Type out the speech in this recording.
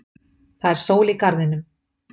Það er sól í garðinum.